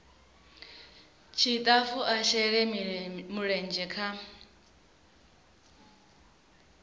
tshitafu a shele mulenzhe kha